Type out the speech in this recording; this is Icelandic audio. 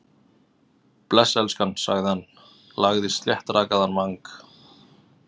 Bless, elskan- sagði hann, lagði sléttrakaðan vang